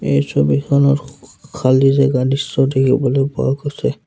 এই ছবিখনত খ খ খালি জেগা দৃশ্য দেখিবলৈ পোৱা গৈছে।